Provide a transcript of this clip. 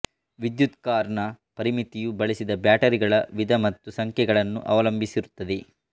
ವಿದ್ಯುತ್ ಕಾರ್ ನ ಪರಿಮಿತಿಯು ಬಳಸಿದ ಬ್ಯಾಟರಿಗಳ ವಿಧ ಮತ್ತು ಸಂಖ್ಯೆಗಳನ್ನು ಅವಲಂಬಿಸಿರುತ್ತದೆ